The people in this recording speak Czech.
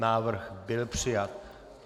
Návrh byl přijat.